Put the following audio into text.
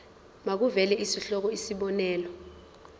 makuvele isihloko isib